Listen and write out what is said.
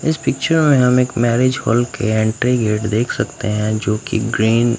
इस पिक्चर में हम एक मैरिज हॉल के एंट्री गेट देख सकते हैं जो कि ग्रीन --